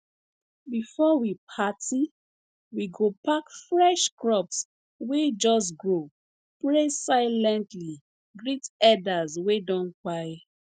before we party we go pack fresh crops wey just grow pray silently greet elders wey don kpai